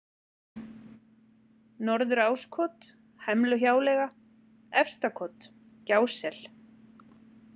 Norður-Áskot, Hemluhjáleiga, Efstakot, Gjásel